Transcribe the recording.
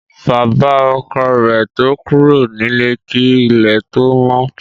Bàbá ọkọ rẹ̀ to kúrò nílé kí ilẹ̀ tó mọ́